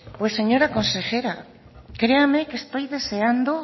pues señora consejera créame que estoy deseando